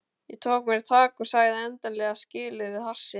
Ég tók mér tak og sagði endanlega skilið við hassið.